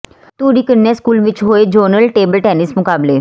ਧੂਰੀ ਕੰਨਿਆ ਸਕੂਲ ਵਿੱਚ ਹੋਏ ਜ਼ੋਨਲ ਟੇਬਲ ਟੈਨਿਸ ਮੁਕਾਬਲੇ